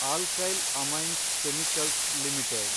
alkyl amines chemicals limited